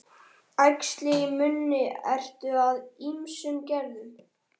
Æxli í munni eru af ýmsum gerðum.